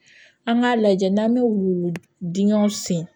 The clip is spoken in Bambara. An k'a lajɛ n'an bɛ wulu dingɛw sen